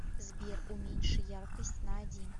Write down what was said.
сбер уменьши яркость на один